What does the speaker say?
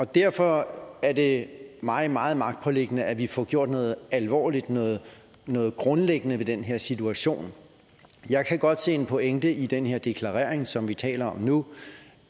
derfor er det mig meget magtpåliggende at vi får gjort noget alvorligt noget noget grundlæggende ved den her situation jeg kan godt se en pointe i den her deklarering som vi taler om nu